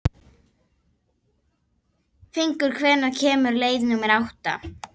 Fengur, hvenær kemur leið númer átta?